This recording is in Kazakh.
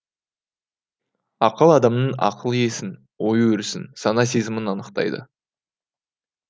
ақыл адамның ақыл есін ой өрісін сана сезімін анықтайды